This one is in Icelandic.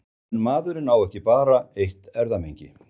En maðurinn á ekki bara eitt erfðamengi.